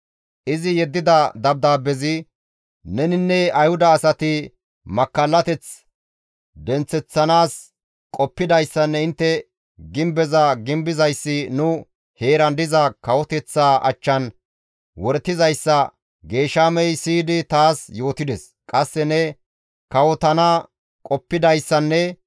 Izi yeddida dabdaabbezi, «Neninne Ayhuda asati makkallateth denththeththanaas qoppidayssanne intte gimbeza gimbizayssi nu heeran diza kawoteththaa achchan woretizayssa Geeshamey siyidi taas yootides; qasse ne kawotana qoppidayssanne